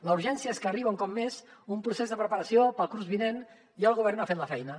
la urgència és que arriba un cop més un procés de preparació per al curs vinent i el govern no ha fet la feina